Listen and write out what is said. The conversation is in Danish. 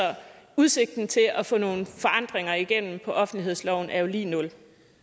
udsigten til at få nogle forandringer igennem i offentlighedsloven er jo lig nul